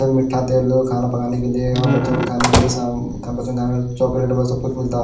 मीठा तेलुगू खाना पकाने के लिए अ बच्चों के खाने के लिए सा बच्चों को खाने के लिए चाकलेट व सब कुछ मिलता--